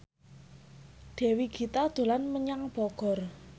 Dewi Gita dolan menyang Bogor